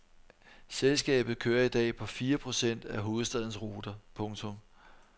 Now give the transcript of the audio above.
Selskabet kører i dag på fire procent af hovedstadens ruter. punktum